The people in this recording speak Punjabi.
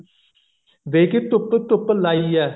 ਵੇ ਕੀ ਧੁੱਪ ਧੁੱਪ ਲਾਈ ਹੈ